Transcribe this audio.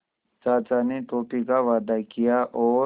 चाचा ने टॉफ़ी का वादा किया और